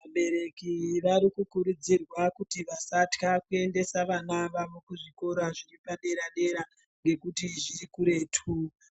Vabereki varikukurudzirwa kuti vasatya kuendesa vana vavo kuzvikora zvepadera dera ngekuti zvirikuretu,